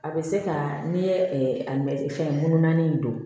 A bɛ se ka n'i ye a mɛ fɛn ŋunan in don